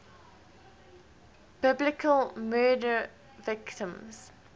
biblical murder victims